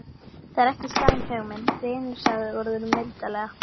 Það er ekki slæm hugmynd, vinur sagði Urður mildilega.